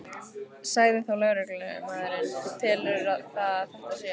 Sagði þá lögreglumaðurinn: Þú telur það að þetta sé?